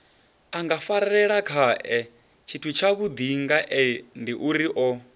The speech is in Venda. a ngafarelelakhae tshithutshavhudi ngaendiuri o